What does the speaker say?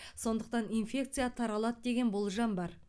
сондықтан инфекция таралады деген болжам бар